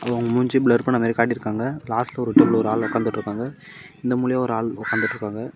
இவங்க மூஞ்சி பிளர் பண்ண மாரி காட்டி இருக்காங்க லாஸ்ட் ரௌ ஓர் இடத்துல ஒரு ஆள் வாங்காந்துட்டு இருகாங்க இந்த மூளையும் ஓர் ஆள் வாங்காந்துட்டு இருக்கங்க.